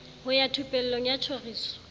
ho ya thupelong ya tjhoriso